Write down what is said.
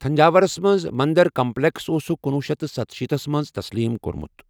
تھنجاورَس منٛز مندر کمپلیکس اوسُکھ کنۄہ شیتھ ستَشیِتَس منٛز تسلیٖم کوٚرمُت۔